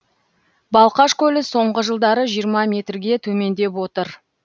балқаш көлі соңғы жылдары жиырма метрге төмендеп отыр